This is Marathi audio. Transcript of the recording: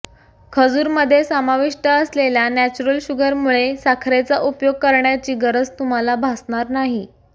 खजूरमध्ये समाविष्ट असलेल्या नॅचरल शुगरमुळे साखरेचा उपयोग करण्याची गरज तुम्हाला भासणार नाही